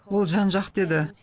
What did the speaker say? ол жан жақты еді